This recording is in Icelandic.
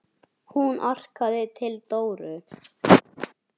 Hún arkaði til Dóru.